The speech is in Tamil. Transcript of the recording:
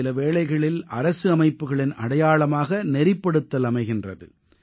சில வேளைகளில் அரசு அமைப்புகளின் அடையாளமாக நெறிப்படுத்தல் அமைகின்றது